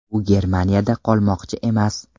U Germaniyada qolmoqchi emas.